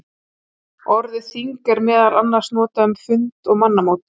Orðið þing er meðal annars notað um fund og mannamót.